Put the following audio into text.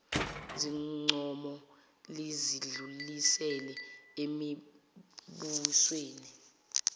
zincomo lizidlulisele emibusweni